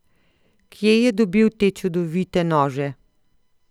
Kje je dobil te čudovite nože?